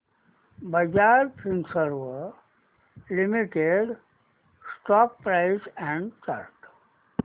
Bajaj Finserv limited stock price and chart